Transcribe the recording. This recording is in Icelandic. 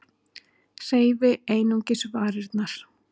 Hreyfi einungis varirnar.